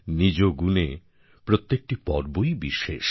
নিজগুণে প্রত্যেকটি পর্বই বিশেষ